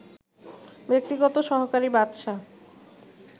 ব্যক্তিগত সহকারী বাদশা